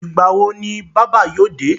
Ìgbà wo ni bábà yóò dé?